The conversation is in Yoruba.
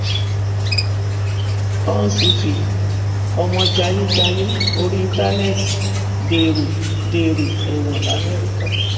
húshhvilpì ọmọ jayéjayé orí íńtánẹẹtì dèrò dèrò ẹwọn lamẹríkà